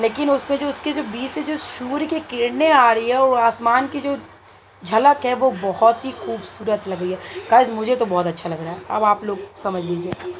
लेकिन उस पे जो उसके जो बीच से जो सूर्य की किरणे आ रही हैं वो आसमान की जो झलक है वो बहुत ही खूबसूरत लग रही है गाईज मुझे तो बहुत अच्छा लग रहा है अब आप लोग समझ लीजिए।